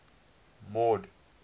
mord